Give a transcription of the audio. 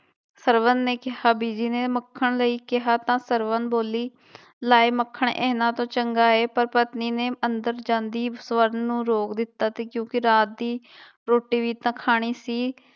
ਸਰਵਣ ਨੇ ਕਿਹਾ, ਬੀਜੀ ਨੇ ਮੱਖਣ ਲਈ ਕਿਹਾ ਤਾਂ ਸਰਵਣ ਬੋਲੀ ਲੈ ਮੱਖਣ ਇਹਨਾਂ ਤੋਂ ਚੰਗਾ ਹੈ ਪਰ ਪਤਨੀ ਨੇ ਅੰਦਰ ਜਾਂਦੀ ਸਵਰਨ ਨੂੰ ਰੋਕ ਦਿੱਤਾ ਤੇ ਕਿਉਂਕਿ ਰਾਤ ਦੀ ਰੋਟੀ ਵੀ ਤਾਂ ਖਾਣੀ ਸੀ।